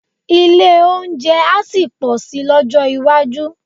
Ilé-oúnjẹ á sì pọ̀ si lọ́jọ́ iwájú